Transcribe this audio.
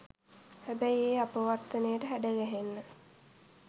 හැබැයි ඒ අපවර්තනයට හැඩගැහෙන්න